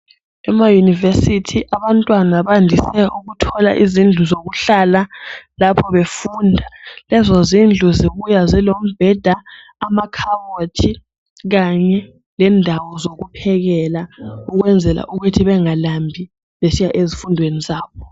Emayunivesithi abantwana bajayele ukuthola izindlu zokuhlala lapho befunda. Lezo zindlu zibuya zilombheda, amakhabothi kanye lendawo zokuphekela ukwenzela ukuthi bengalambi nxa besiya ezifundweni zabo.